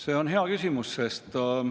See on hea küsimus.